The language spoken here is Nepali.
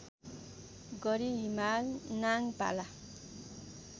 गरी हिमाल नाङपाला